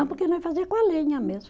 Não, porque nós fazia com a lenha mesmo.